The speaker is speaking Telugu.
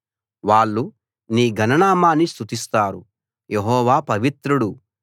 వాళ్ళు నీ ఘన నామాన్ని స్తుతిస్తారు యెహోవా పవిత్రుడు